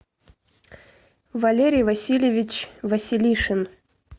валерий васильевич василишин